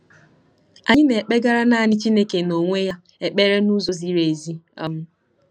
Anyị na-ekpegara naanị Chineke n'onwe ya ekpere n'ụzọ ziri ezi. um